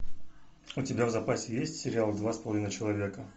у тебя в запасе есть сериал два с половиной человека